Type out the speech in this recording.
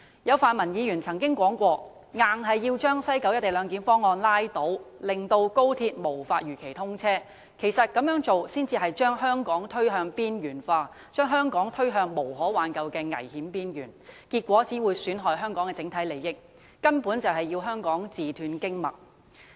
有泛民議員曾表示一定要把西九龍站"一地兩檢"方案拉倒，令高鐵無法如期通車，這樣做其實會把香港推向邊緣化，把香港推向無可挽救的危險邊緣，結果只會損害香港的整體利益，根本是要令香港自斷經脈。